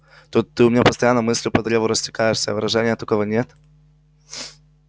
тут ты у меня постоянно мыслью по древу растекаешься а выражения такого нет